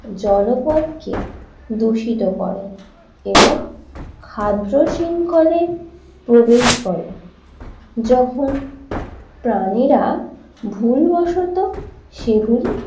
জলপথ কে দূষিত করে এবং খাদ্য শৃঙ্খলে প্রবেশ করে যখন প্রাণীরা ভুলবশত সেগুলি